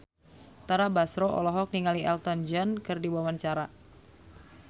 Tara Basro olohok ningali Elton John keur diwawancara